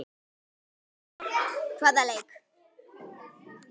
Hvaða leik?